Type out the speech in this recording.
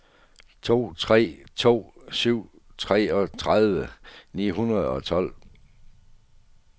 to tre to syv treogtredive ni hundrede og tolv